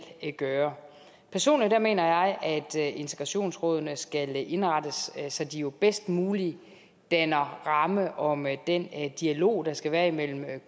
gøre personligt mener jeg at integrationsrådene skal indrettes så de bedst muligt danner ramme om den dialog der skal være imellem